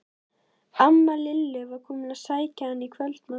Amma Lillu var komin til að sækja hana í kvöldmat.